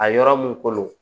A yɔrɔ mun kolo